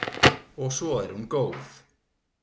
Og svo er hún góð.